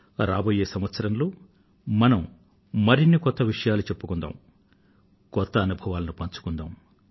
రాబోయే సంవత్సరంలో మనం మరిన్ని కొత్త విషయాలను చెప్పుకుందాం కొత్త అనుభవాలను పంచుకుందాం